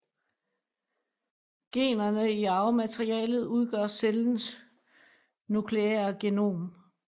Generne i arvematerialet udgør cellens nukleære genom